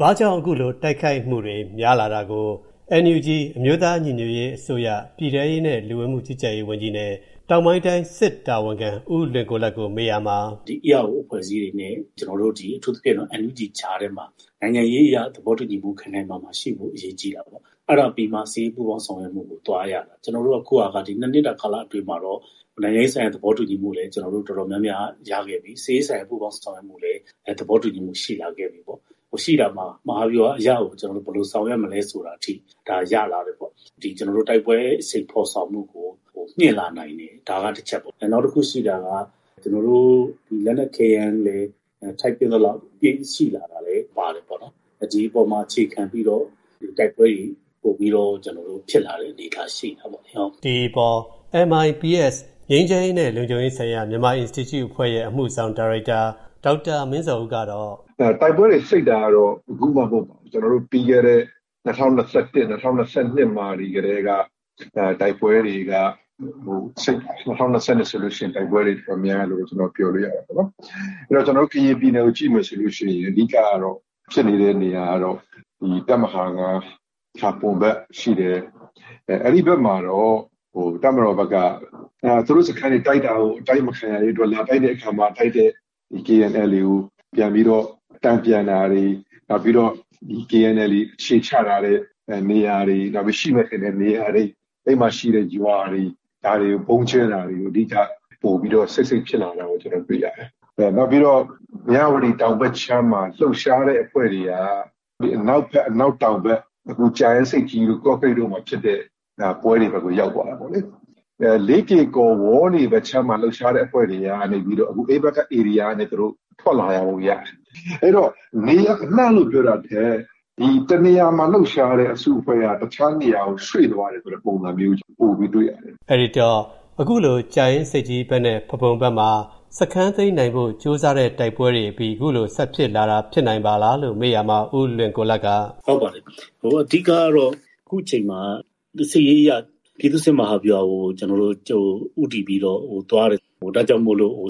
ဘာကြောင့် အခု တိုက်ခိုက်မှုတွေ များလာရတာကို NUG အမျိုးသား ညီညွတ်ရေး အစိုးရ ပြည်ထဲရေး နဲ့ လူဝင်မှုကြီးကြပ်ရေးဝန်ကြီး နဲ့ တောင်ပိုင်းတိုင်း စစ်တာဝန်ခံ ဦးလွင်ကိုလတ် ကို မေးရာမှာ ERO အဖွဲ့အစည်းတွေ နဲ့ ကျနော်တို့ အထူးသဖြင့် NUG ကြားထဲမှာ နိုင်ငံရေးအရ သဘောတူညီမူ ခိုင်ခိုင်မာမာရှိဖို့ အရေးကြီးတာပေါ့။ အဲဒါပြီးမှ စစ်ရေးပူးပေါင်းဆောင်ရွက်မူကို သွားရမှာ ။ ကျနော်တို့က အခုဟာက မနှစ်က ကာလအတွင်းမှာတော့ နိုင်ငံရေးအရ သဘောတူညီမူ တော်တော်များများရခဲ့ပြီ။ စစ်ရေးဆိုင်ရာ ပူးပေါင်းဆောင်ရွက်မူလည်း သဘောတူညီမူ ရှိလာခဲ့ပြီပေါ့။ မဟာဗျူဟာ အရကို သဘောတူညီမူ ဒါရလာခဲ့တယ်ပေါ့။ တိုက်ပွဲဖော်ဆောင်မူ အရှိန်ကို မြှင့်လာနိုင်တယ်။ နောက်တခုရှိတာက ကျနော်တို့ လက်နက်ခဲယမ်းလည်း ထိုက်သင့်သလောက်ရှိလာပါတယ်။ ဒီအပေါ်မှာ အခြေခံပြီးတော့ တိုက်ပွဲတွေ ပိုပြီးတော့ ဖြစ်လာတဲ့ အနေအထားရှိလာပါတယ်။ ဒီအပေါ်မှာ MIPS ငြိမ်းချမ်းရေး နဲ့ လုံခြုံရေးဆိုင်ရာ မြန်မာ အင်စတီကျု့ ရဲ့ အမူဆောင် ဒါရိုက်တာ ဒေါက်တာ မင်းဇော်ဦး ကတော့ တိုက်ပွဲတွေ စိပ်တာကတာ့ အခုမှ မဟုတ်ပါဘူး။ ပြီးခဲ့တဲ့ ၂ဝ၂၁ ၊ ၂ဝ၂၂ ကတည်းက တိုက်ပွဲတွေ များပါတယ်။ ကျနော်တို့ ကရင်ပြည်နယ်ကို ကြည့်ရင် တပ်မဟာ ၅ ဖာပွန်ဖက်ဖြစ်တယ်။ တပ်မတော်ဖက်က သူတို့ စခန်းတွေ အတိုက်ခံရတာကို အတိုက်မခံရရေး KNLA ကို တန်ပြန်တာတွေ၊ KNLA အခြေချတဲ့နေရာတွေ ၊ နောက်ပြီးတော့ အဲဒီမှာရှိတဲ့ ရွာတွေကို ဗုံးကြဲတာတွေ စိတ်စိတ်ဖြစ်လာတာတွေရပါတယ်။ နောက်ပြီးတော့ မြဝတီတောင်ဖက်ချမ်းမှာ လှုပ်ရှားတဲ့အဖွဲ့တွေက ကြာအင်ဆိပ်ကြီး ၊ ကော့ကရိတ်တို့ဖက်မှာ ဖြစ်တဲ့ ဖက်ကို ရောက်သွားတာပါ။ လေးကေကော် ၊ ဝေါလေ ဖက်က လှုပ်ရှားတဲ့အဖွဲ့တွေက အဲဒီဖက်ကနေ ထွက်လာတာပေါ့။ နေရာအနှံ့ လို့ပြောတာထက် တနေရာမှာ လှုပ်ရှားတဲအဖွဲ့က တခြားနေရာကို ရွှေ့သွားတဲ့ပုံစံမျိုး ပိုတွေ့ရတယ်။ အဲဒီတော့ အခုလို ကြာအင်းဆိပ်ကြီး ဖက် နဲ့ ဖားပွန်ဖက် မှာ စခန်းသိမ်းနိုင်ဖို့ ကြိုးစားတဲ့ တိုက်ပွဲအပြီး ဆက်ဖြစ်လာတာလား လို့ မေးရာမှာ ဦးလွင်ကိုလတ် က ဟုတ်ပါတယ်။ အခုအချိန်အခါ က စစ်ရေးအရ ပြည်သူ့စစ် မဟာဗျူဟာကို ဦးတည်ပြီးတော့ သွားနေတာဖြစ်လို့ အ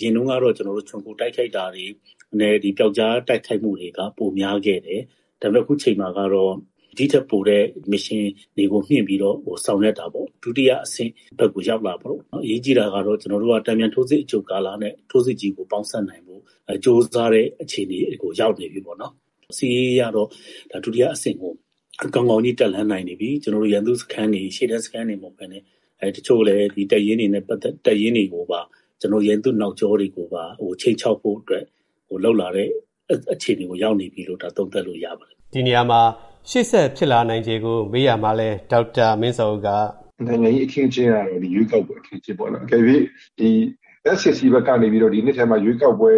ရင်တုံးကတော့ ခြုံခိုတိုက်ခိုက်တာတွေ၊ ပျောက်ကြားတိုက်ခိုက်တာတွေ က ပိုများခဲ့တယ်။ အခုအချိန်မှာတော့ ဒီထက်ပိုတဲ့ မစ်ရှင်တွေကို မြှင့်ပြီးတော့ ဆောင်ရွက်တာမှာ ဒုတိယ အဆင့်ကို ရောက်လာပြီ ။ အရေးကြီးတာကတော့ တန်ပြန်ထိုးစစ်အကြိုကာလ နဲ့ ထိုးစစ်ကြီးကို ပေါင်းစပ်နိုင်ဖို့ ကြိုးစားတဲ့ အခြေနေကို ရောက်လာပြီ။ စစ်ရေးအရတော့ ဒုတိယအဆင့်ကို ကောင်းကောင်း တက်လှမ်းနိုင်နေပြီ။ ရန်သူရှေ့တန်းစခန်းတွေ ၊ ရန်သူတပ်ရင်းတွေကိုပါ ခြိမ်းခြောက်နိုင်တဲ့အဆင့် ကို ရောက်နေပြီလို့ သုံးသပ်လို့ရပါတယ်။ ဒီနေရာမှာ ရှေ့ဆက်ဖြစ်လာနိုင်ချေကို မေးရာမှာလည်း ဒေါက်တာ မင်းဇော်ဦး က နိုင်ငံရေး အခင်းအကျင်းကတော့ ဒီ ရွေးကောက်ပွဲအထိ ဖြစ်လာပြီပေါ့။ တကယ်လို့ ဒီ SAC ဖက်ကနေ ဒီနှစ်ထဲမှာ ရွေးကောက်ပွဲ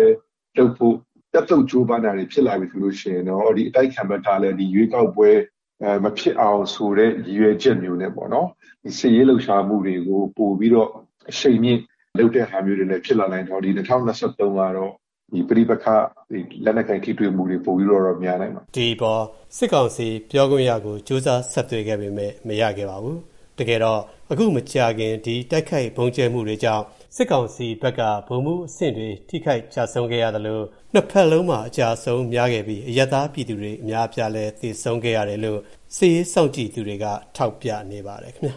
လုပ်ဖို့ တက်သုပ်လုပ်လာရင်တော့ အတိုက်အခံဖက်ကလည်း မဖြစ်အောင် ရည်ရွယ်ပြီး စစ်ရေးလှုပ်ရှားမှုတွေ ပိုလုပ်လာပြီး ၂ဝ၂၃ ကတော့ လက်နက်ကိုင် ပဋိပက္ခတွေ ပိုများလာနိုင်တယ်ပေါ့။ ဒါတွေနဲ့ ပတ်သက်ပြီး စစ်ကောင်စီ ပြောခွင့်ရကို ကြိုးစားဆက်သွယ်ခဲ့ပေမယ့် မရခဲ့ပါဘူး။ တကယ်တော့ အခုမကြာသေးခင်က တိုက်ခိုက် ဗုံးကြဲမူတွေကြောင့် စစ်ကောင်စီဖက်က ဗိုလ်မှူးအဆင့်တွေ ထိခိုက်ကျဆုံးခဲ့ရသလို ၂ ဖက်စလုံးမှာ အကျအဆုံး များခဲ့ပြီး အရပ်သားပြည်သူတွေ အများအပြားလည်း သေဆုံးခဲ့ကြရတယ်လို့ စစ်ရေးစောင့်ကြည့်သူတွေက ထောက်ပြနေပါတယ်ခင်ဗျာ